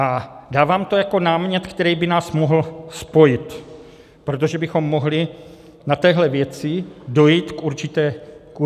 A dávám to jako námět, který by nás mohl spojit, protože bychom mohli na téhle věci dojít k určité shodě.